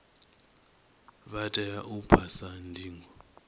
vha tea u phasa ndingo